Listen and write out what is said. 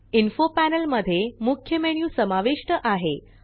info panel मध्ये मुख्य menu समाविष्ट आहे